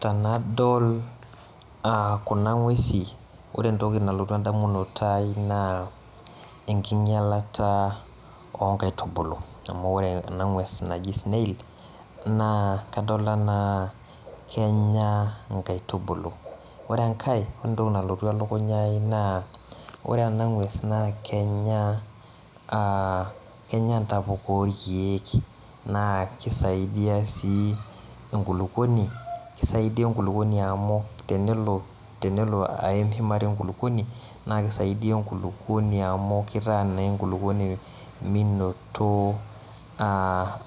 Tanadol a kuna ngwesin, ore entoki nalotu endamunoto ai na enkinyalata onkaitubulu amu ore enangues naji snail na kadol ana kenya nkaitubulu, ore enkae ore entoki nalotu elukunya ai na ore enangwes na kenya ntapuka orkiek na kisaidia si enkulukuoni , kisaidia enkulukuoni amu tenelo aim shumata enkulukuoni na kisaidia enkulukuoni amu kitaa naa enkulukuoni